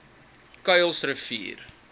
kuilsrivier